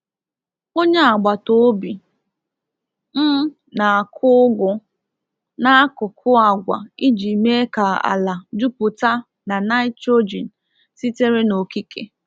Onye agbata obi m na-akụ ugu n'akụkụ agwa iji mee ka ala jupụta na nitrogen sitere n'okike.